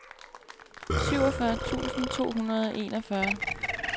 syvogfyrre tusind to hundrede og enogfyrre